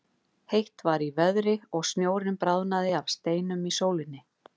Heitt var í veðri og snjórinn bráðnaði af steinum í sólinni.